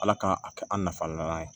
Ala k'an a kɛ an nafa ye